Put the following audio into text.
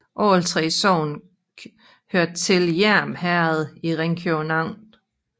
Alle 3 sogne hørte til Hjerm Herred i Ringkøbing Amt